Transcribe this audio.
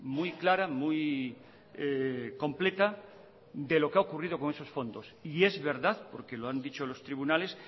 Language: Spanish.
muy clara muy completa de lo que ha ocurrido con esos fondos y es verdad porque lo han dicho los tribunales